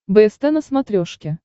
бст на смотрешке